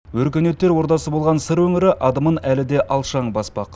өркениеттер ордасы болған сыр өңірі адымын әлі де алшаң баспақ